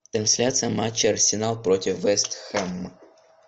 трансляция матча арсенал против вест хэм